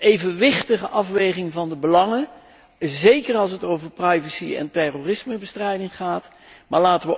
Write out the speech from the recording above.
een evenwichtige afweging van de belangen, zeker als het over privacy en terrorismebestrijding gaat, is belangrijk.